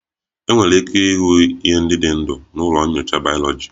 Enwere ike ịhụ ihe ndị dị ndụ na ụlọ nyocha bayoloji